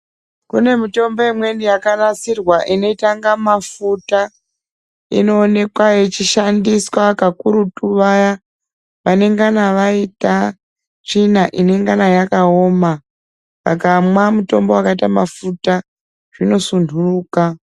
Kune mitombo imweni yakanasirwa inoita kunga mafuta inoonekwa yechishandiswa kakurutu vaya vanengana vaita tsvina inengana yakaoma akamwa mutombo wakaita mafuta zvinosunduruka .